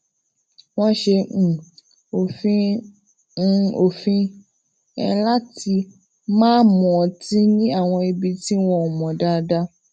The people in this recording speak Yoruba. wón se um òfin um òfin um lati ma mu ọtí ní àwọn ibi tí wọn ò mò daadaa